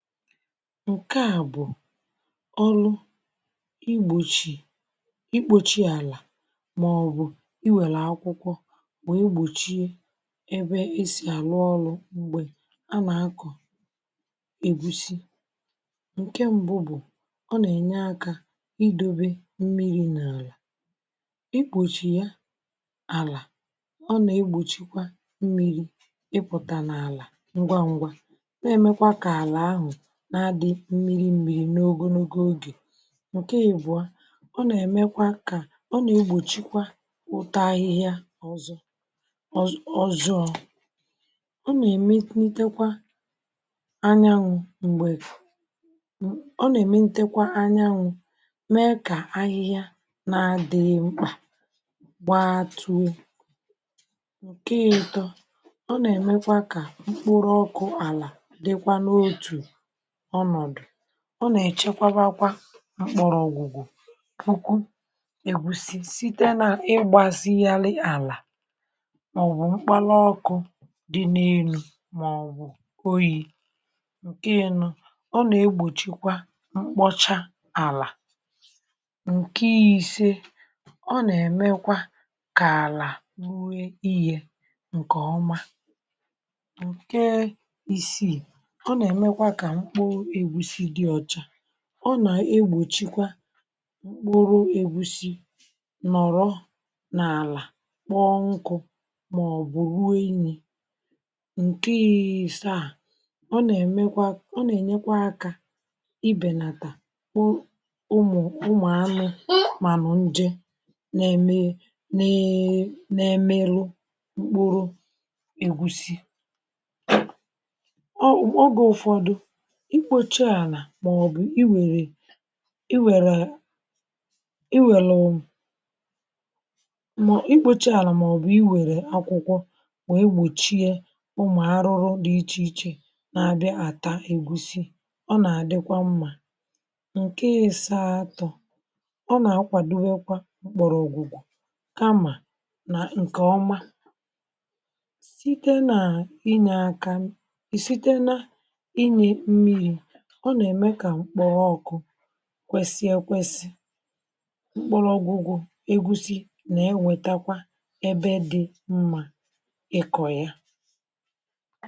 Nke a bụ̀ ọlụ igbòchi ikpòchi àlà màọ̀bụ̀ iwèlè akwụkwọ bụ̀ igbòchi ebe esì àlụ ọlụ̇ m̀gbè a nà-akọ̀ ègbusi, ǹke m̀bụ bụ̀ ọ nà-ènye akȧ idȯbė mmiri n’àlà, igbòchi ya àlà ọ nà-egbòchikwa mmiri ịpụ̀ta n’àlà ngwa ngwa, na-emekwa ka ala ahụ na-adị mmiri m̀miri n’ogologo ogè. Nke ịbụ̀a ọ nà-èmekwa kà ọ nà-egbòchikwa ụtọ ahịhịa ọzọ ọzọ ọzọọ, ọ nà-èmenitekwa anyanwụ̀ m̀gbè ọ nà-èmenitekwa anyanwụ̀ mee kà ahịhịa na-adịghị mkpà gbaa too. Nke itọ ọ nà-èmekwa kà mkpụrụ ọkụ àlà dịkwa n’otù ọnọdụ, ọ nà-èchekwabakwa mkpọrọ̀ ọ̀gwụ̀gwụ̀ ukwuu ègusi site n’ịgbȧsịalị àlà màọbụ̀ mkpala ọkụ̇ dị na elu̇ màọbụ̀ oyi̇. Nke ịnọ, ọ nà-egbòchikwa mkpọcha àlà. Nke isė, ọ nà-èmekwa kà àlà rue ihė ǹkè ọma. Nke isiì, ọ nà-èmekwa kà mkpụrụ ègbusi dị ọcha. Ọnà-egbòchikwa ka mkpụrụ egwusi nọ̀rọ n’àlà kpọọ nkụ̇ màọbụ̀ ruo inyì. Nke ìsaa, ọ nà-emekwa ọ nà-ènyekwa akȧ ibèlàtà ụmụ̀ ụmụ̀anụ̇ mànụ̀ nde na-eme na-emeru mkpụrụ egwusi, oge ụfọdụ, ikpȯchi àlà màọ̀bụ̀ i wèrè i wèrè i wèlụ ikpocha ala màọ̀bụ i wèrè akwụkwọ wee gbòchie umù arụrụ dị ichè ichè na-adị àta egwusi, ọ nà-àdịkwa mmȧ. Nkẹ ịsȧ atọ ọ nà-akwàdowe kwa m̀kpọ̀rọ̀ ògwùgwò kamà nà ǹkè ọma site nà inyė aka, i site na inyė mmịrị̇ ọ nà-ème kà mkpọo ọkụ kwẹsịe ekwẹsị mkpọrọ ọgwụgwụ egwusi nà-enwetakwa ẹbẹ dị mma ịkọ̀ ya.